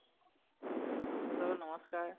hello নমস্কাৰ